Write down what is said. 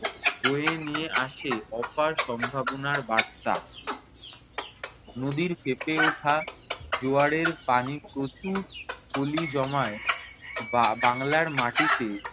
বয়ে নিয়ে আসে অপার সম্ভাবনার বার্তা। নদীর ফেঁপে ওঠা জোয়ারের পানি প্রচুর পলি জমায় বা~ বাংলার মাটিতে।